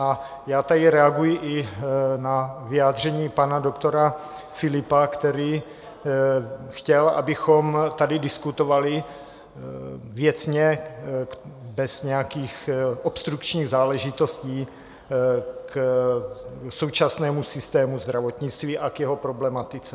A já tady reaguji i na vyjádření pana doktora Philippa, který chtěl, abychom tady diskutovali věcně, bez nějakých obstrukčních záležitostí k současnému systému zdravotnictví a k jeho problematice.